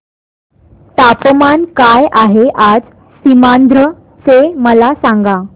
तापमान काय आहे आज सीमांध्र चे मला सांगा